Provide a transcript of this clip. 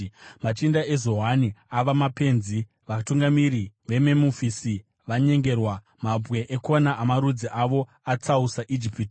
Machinda eZoani ava mapenzi, vatungamiri veMemufisi vanyengerwa; mabwe ekona amarudzi avo atsausa Ijipiti.